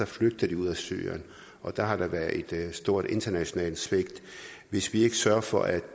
flygter de ud af syrien og der har der været et stort internationalt svigt hvis vi ikke sørger for at